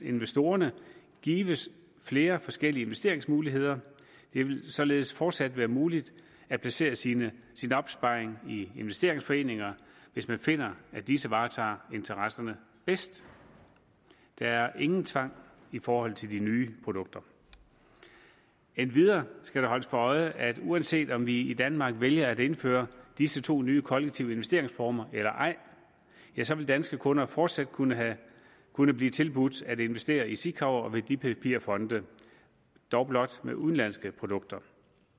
investorerne gives flere forskellige investeringsmuligheder det vil således fortsat være muligt at placere sin opsparing i investeringsforeninger hvis man finder at disse varetager interesserne bedst der er ingen tvang i forhold til de nye produkter endvidere skal det holdes for øje at uanset om vi i danmark vælger at indføre disse to nye kollektive investeringsformer eller ej så vil danske kunder fortsat kunne kunne blive tilbudt at investere i sikaver og i værdipapirfonde dog blot med udenlandske produkter